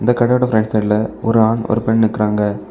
இந்த கடையோட ஃபிரண்ட் சைடுல ஒரு ஆண் ஒரு பெண் நிக்கிறாங்க.